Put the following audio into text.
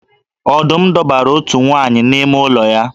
Ọdum dọbara nwa otu nwaanyị n’ime ụlọ ya